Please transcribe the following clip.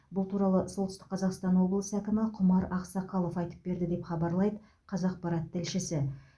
бұл туралы солтүстік қазақстан облыс әкімі құмар ақсақалов айтып берді деп хабарлайды қазақпарат тілшісі